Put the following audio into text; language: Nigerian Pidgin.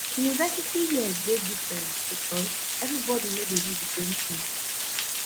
university years dey different because everybody no dey do di same ting